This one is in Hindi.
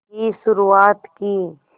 की शुरुआत की